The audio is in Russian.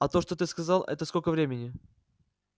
а то что ты сказал это сколько времени